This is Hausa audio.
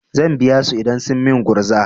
Zan biya su idan sun min gurza.